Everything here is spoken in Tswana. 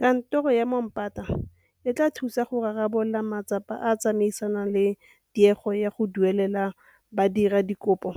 Kantoro ya Moombata e tla thusa go rarabolola matsapa a a tsamaisanang le tiego ya go duelela badiradikopo